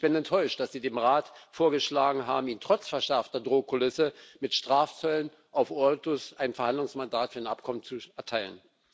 Ich bin enttäuscht, dass Sie dem Rat vorgeschlagen haben, Ihnen trotz verschärfter Drohkulisse mit Strafzöllen auf Autos ein Verhandlungsmandat für ein Abkommen zu erteilen.